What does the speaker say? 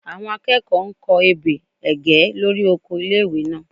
Àwọn akẹ́kọ̀ọ́ n kọ ebè ẹ̀gẹ́ lórí oko ilé-ìwé náà